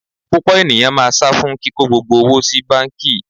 Púpọ̀ ènìyàn máa sá fún kíko gbogbo owó sí báńkì.